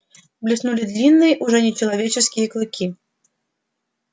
блеснули длинные уже нечеловеческие клыки